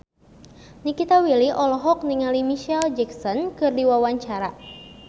Nikita Willy olohok ningali Micheal Jackson keur diwawancara